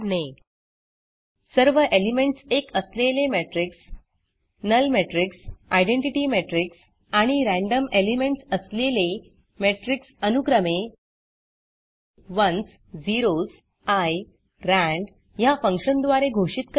सर्व एलिमेंटस एक असलेले matrixमेट्रिक्स नुल Matrixनल मेट्रिक्स आयडेंटिटी matrixआइडेंटिटी मेट्रिक्स आणि randomरॅंडम एलिमेंटस असलेले matrixमेट्रिक्सअनुक्रमे ones zeros eye rand ह्या फंक्शनद्वारे घोषित करणे